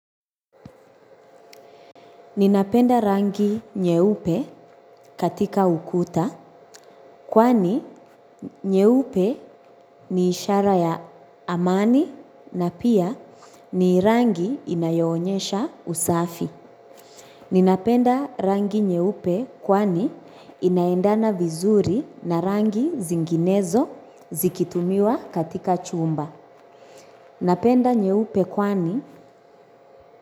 Ninapenda rangi nyeupe katika ukuta kwani nyeupe ni ishara ya amani na pia ni rangi inayoonyesha usafi. Ninapenda rangi nyeupe kwani inaendana vizuri na rangi zinginezo zikitumiwa katika chumba. Napenda nyeupe kwani.